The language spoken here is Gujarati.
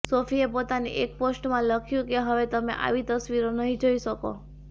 સોફીએ પોતાની એક પોસ્ટમાં લખ્યું કે હવે તમે આવી તસ્વીરો નહીં જોઈ શકો